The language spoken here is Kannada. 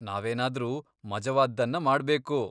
ನಾವೇನಾದ್ರೂ ಮಜವಾದ್ದನ್ನ ಮಾಡ್ಬೇಕು.